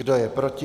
Kdo je proti?